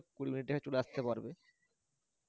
কুঁড়ি মিনিটে চলে আসতে পারবে